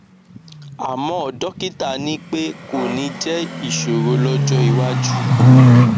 àmọ dọkítà ní pé kò ní jẹ ìṣòro lọjọ iwájú